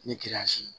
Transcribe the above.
Ni